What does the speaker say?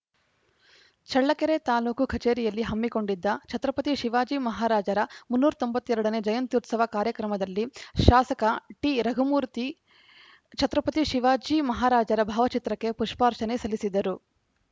ಚಳ್ಳಕೆರೆ ತಾಲೂಕು ಕಚೇರಿಯಲ್ಲಿ ಹಮ್ಮಿಕೊಂಡಿದ್ದ ಛತ್ರಪತಿ ಶಿವಾಜಿ ಮಹಾರಾಜರ ಮುನ್ನೂರ ತೊಂಬತ್ತ್ ಎರಡ ನೇ ಜಯಂತ್ಯುತ್ಸವ ಕಾರ್ಯಕ್ರಮದಲ್ಲಿ ಶಾಸಕ ಟಿರಘುಮೂರ್ತಿ ಛತ್ರಪತಿ ಶಿವಾಜಿ ಮಹಾರಾಜರ ಭಾವಚಿತ್ರಕ್ಕೆ ಪುಪ್ಪಾರ್ಚನೆ ಸಲ್ಲಿಸಿದರು